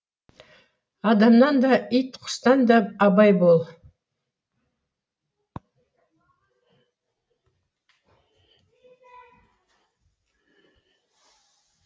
адамнан да ит құстан да абай бол